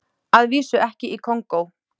Að vísu ekki í Kongó.